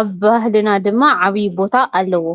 ኣብ ባህልና ድማ ዓብዪ ቦታ ኣለዎ፡፡